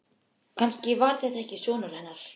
Kannski var þetta ekki sonur hennar.